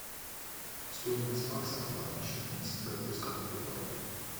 стоимость баксов по отношению к сингапурскому доллару